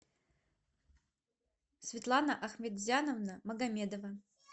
светлана ахметзяновна магомедова